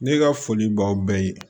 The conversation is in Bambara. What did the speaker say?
Ne ka foli b'aw bɛɛ ye